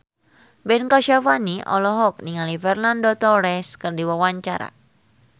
Ben Kasyafani olohok ningali Fernando Torres keur diwawancara